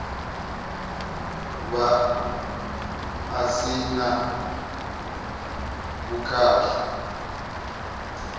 vha a si na vhukhakhi